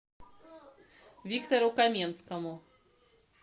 виктору каменскому